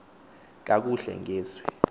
kakuhle nge zwi